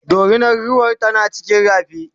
dorinar ruwar tana cikin rafin